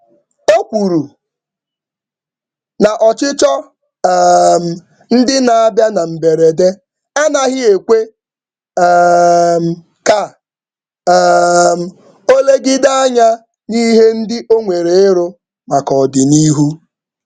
Ọ kwuru na arịrịọ um ngwa ngwa na-aga n’ihu na-akpaghasị oge um oru ngo ya um ogologo.